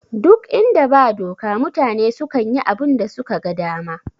Ɗuk inda ba doka mutane sukan yi abunda suka ga dama